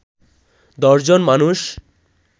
১০ জন মানুষ